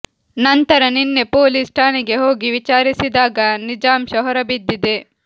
ನಂತರ ನಿನ್ನೆ ಪೊಲೀಸ್ ಠಾಣೆಗೆ ಹೋಗಿ ವಿಚಾರಿಸಿದಾಗ ನಿಜಾಂಶ ಹೊರ ಬಿದ್ದಿದೆ